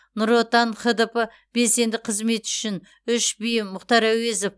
нұр отан хдп белсенді қызметі үшін үш би мұхтар әуезов